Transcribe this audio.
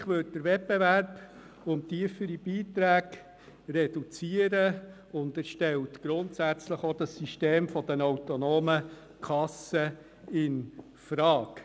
Ein Lastenausgleich würde den Wettbewerb um tiefere Beiträge reduzieren und stellt grundsätzlich auch das System der autonomen Kassen infrage.